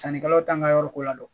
Sannikɛlaw t'an ka yɔrɔ ko ladɔn